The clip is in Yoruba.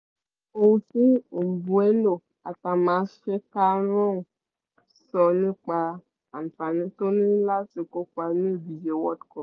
wo ohun tí mbéuno sọ nípa àǹfàní tó ní láti kópa ní ìdíje world cup